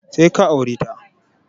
Sai ka aure ta!